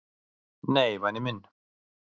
"""Nei, væni minn."""